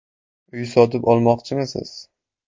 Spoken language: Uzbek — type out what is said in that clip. Uy sotib olmoqchimisiz?